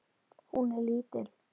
Hún er lítil.